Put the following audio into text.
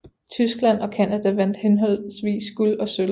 Tyskland og Canada vandt henholdsvis guld og sølv